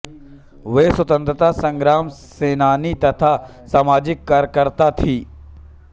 वे स्वतंत्रता संग्राम सेनानी तथा सामाजिक कार्यकर्ता थीं